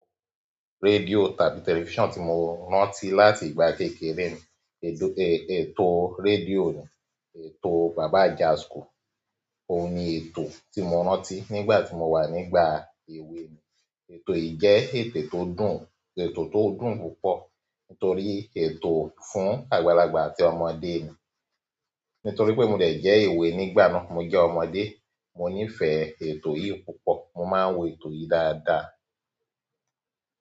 Rédíò tàbí tẹlifísàn tí mo rántí láti ìgbà kékeré mi, ètò rédíò ni, ètò Baba Ajáskò. Oun ni ètò tí mo rántí nígbà tí mo wà nígbà èwe mi. Ètò yìí jẹ́ ètò tó dùn, ètò tó dùn púpọ̀ nítorí ètò fún àgbàlagbà àti ọmọdé ni. Nítorí pé mo dẹ̀ jẹ́ èwe nígbà náà, mo jẹ́ ọmọdé, mo nífẹ̀ẹ́ ètò yìí púpọ̀. Mo máa ń wo ètò yìí dáadáa.